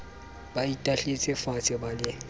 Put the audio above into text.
ba itahletse faatshe ba le